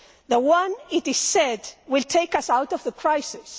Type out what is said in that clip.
the one it is said will take us out of the crisis.